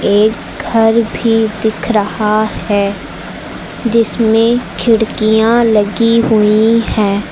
एक घर भी दिख रहा है जिसमें खिड़कियां लगी हुई हैं।